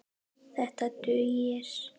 Þetta dugir.